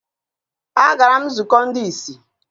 Agara m nzukọ ndị ìsì.